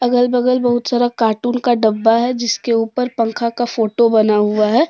अगल बगल बहुत सारा कॉर्टून का डब्बा है जिसके उपर पंखा का फोटो बना हुआ है।